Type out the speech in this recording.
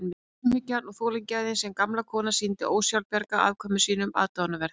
Voru umhyggjan og þolgæðið sem gamla konan sýndi ósjálfbjarga afkvæmum sínum aðdáunarverð.